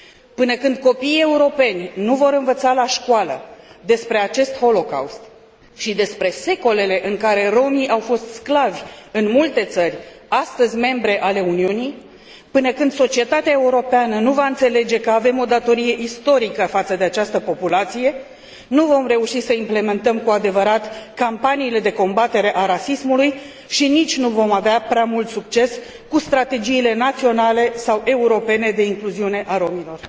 Până când copiii europeni nu vor învăța la școală despre acest holocaust și despre secolele în care romii au fost sclavi în multe țări, astăzi membre ale Uniunii, până când societatea europeană nu va înțelege că avem o datorie istorică față de această populație, nu vom reuși să implementăm cu adevărat campaniile de combatere a rasismului și nici nu vom avea prea mult succes cu strategiile naționale sau europene de incluziune a romilor.